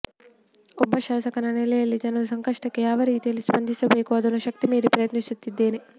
ಒಬ್ಬ ಶಾಸಕನ ನೆಲೆಯಲ್ಲಿ ಜನರ ಸಂಕಷ್ಟಕ್ಕೆ ಯಾವ ರೀತಿಯಲ್ಲಿ ಸ್ಪಂದಿಸಬೇಕೋ ಅದನ್ನು ಶಕ್ತಿಮೀರಿ ಪ್ರಯತ್ನಿಸಿದ್ದೇನೆ